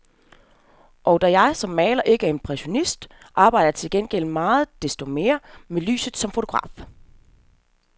Og da jeg som maler ikke er impressionist, arbejder jeg til gengæld så meget desto mere med lyset som fotograf.